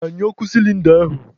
Gbanyụọ ọkụ sịlịnda ahụ